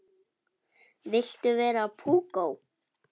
Viltu vera púkó?